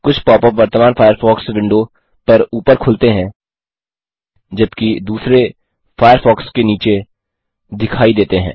कुछ pop up वर्तमान Firefox window पर ऊपर खुलते हैं जबकि दूसरे फ़ायरफ़ॉक्स के नीचे दिखाई देते हैं